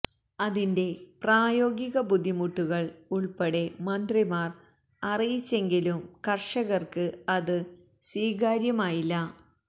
അതിന്റെ പ്രായോഗിക ബുദ്ധിമുട്ടുകള് ഉള്പ്പെടെ മന്ത്രിമാര് അറിയിച്ചെങ്കിലും കര്ഷകര്ക്ക് അത് സ്വീകാര്യമായില്ല